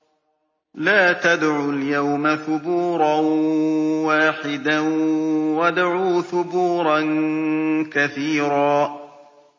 لَّا تَدْعُوا الْيَوْمَ ثُبُورًا وَاحِدًا وَادْعُوا ثُبُورًا كَثِيرًا